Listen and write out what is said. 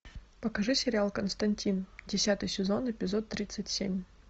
покажи сериал константин десятый сезон эпизод тридцать семь